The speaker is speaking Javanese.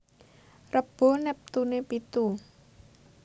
Rebo neptune pitu